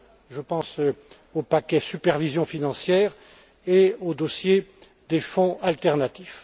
Je pense au paquet supervision financière et au dossier des fonds alternatifs.